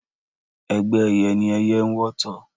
Ẹgbẹ́ ẹyẹ ni ẹyẹ ń wọ́tọ̀.